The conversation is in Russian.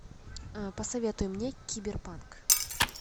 посоветуй мне киберпанк